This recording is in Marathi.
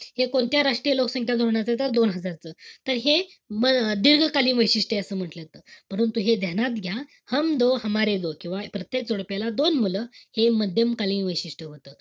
हे कोणत्या राष्ट्रीय लोकसंख्या धोरणाच, तर दोन हजार च. त हे म~ मध्यमकालीन वैशिष्ट्य असं म्हंटल जात. परंतु हे ध्यानात घ्या. किंवा प्रत्येक जोडप्याला दोन मुलं, हे मध्यमकालीन वैशिष्ट्य होतं.